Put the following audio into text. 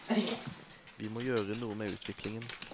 Vi må gjøre noe med utviklingen.